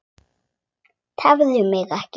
Tefðu mig ekki.